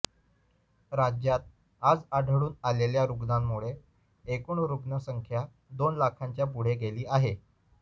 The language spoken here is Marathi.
राज्यात आज आढळून आलेल्या रुग्णांमुळे एकूण रुग्णसंख्या दोन लाखांच्या पुढे गेली आहे